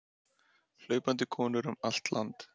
Hlaupandi konur um allt land